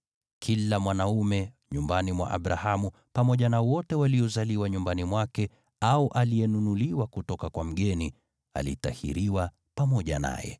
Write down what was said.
Kila mwanaume nyumbani mwa Abrahamu, pamoja na wote waliozaliwa nyumbani mwake au aliyenunuliwa kwa fedha kutoka kwa mgeni, alitahiriwa pamoja naye.